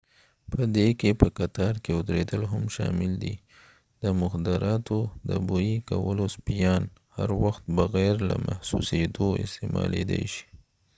په دې کې په قطار کې ودریدل هم شامل دي د مخدراتو د بوی کولو سپیان هر وخت بغیر له محسوسیدو استعمالیدای شی